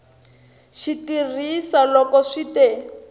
xi tirhisa loko swi te